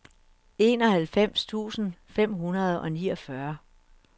enoghalvfems tusind fem hundrede og niogfyrre